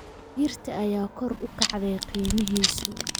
Digirta ayaa kor u kacday qiimihiisu